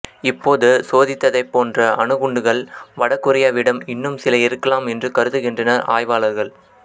இப்போது சோதித்ததைப் போன்ற அணுகுண்டுகள் வடகொரியாவிடம் இன்னும் சில இருக்கலாம் என்று கருதுகின்றனர் ஆய்வாளர்கள்